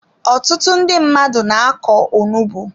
Ọtụtụ ndị mmadụ na-akọ onugbu.